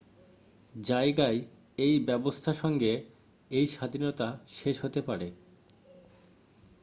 জায়গায় এই ব্যবস্থা সঙ্গে এই স্বাধীনতা শেষ হতে পারে